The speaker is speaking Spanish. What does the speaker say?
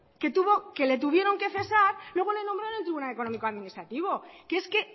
que le tuvieron que cesar luego le nombraron el tribunal económico administrativo que es que